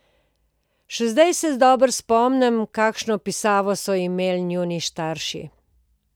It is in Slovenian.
Še zdaj se dobro spomnim, kakšno pisavo so imeli njuni starši.